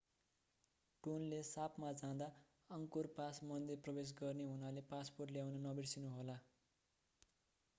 Tonle सापमा जाँदा Angkor pass मन्दिर प्रवेश गर्ने हुनाले पासपोर्ट ल्याउन नबिर्सनु होला